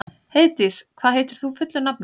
Heiðdís, hvað heitir þú fullu nafni?